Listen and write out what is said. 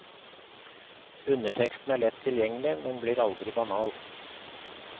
Underteksten er lett tilgjengelig, men blir aldri banal.